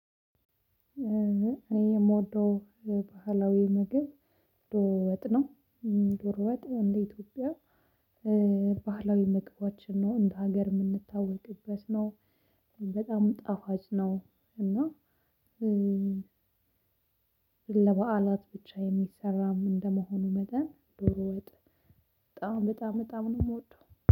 እኔ የምወደው ባህላዊ ምግብ ዶሮ ወጥ ነው። ዶሮ ወጥ እንደ ኢትዮጵያ ባህላዊ መግባችን ነው እንደ ሀገር የምንታወቅበት ነው። በጣም ጣፋጭ ነው። እና ለበዓላት ብቻ የሚሰራም እንደመሆኑ መጠን ዶሮ ወጥ በጣም በጣም በጣም ነው የምወደው